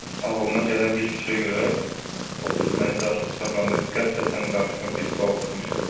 Ağılıma gələn bir fikrə görə, o qız məni dartıb çağıranda qəflətən qarşıma bir sual çıxmışdı.